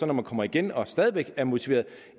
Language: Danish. når man kommer igen og stadig væk er motiveret